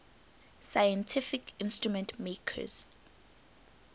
scientific instrument makers